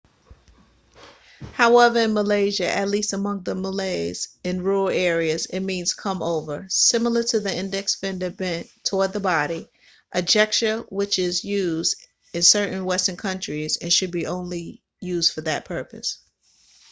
however in malaysia at least among the malays in rural areas it means come over similar to the index finger bent toward the body a gesture which is used in certain western countries and should be used only for that purpose